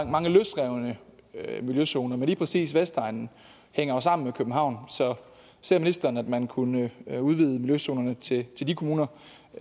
mange løsrevne miljøzoner men lige præcis vestegnen hænger jo sammen med københavn så ser ministeren at man kunne udvide miljøzonerne til de kommuner